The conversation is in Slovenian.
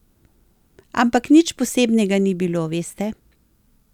Ampak nič posebnega ni bilo, veste.